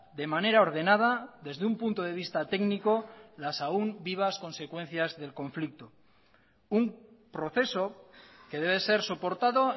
de manera ordenada desde un punto de vista técnico las aún vivas consecuencias del conflicto un proceso que debe ser soportado